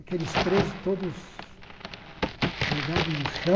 Aqueles presos todos jogados no chão,